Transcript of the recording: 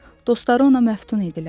Dostları ona məftun idilər.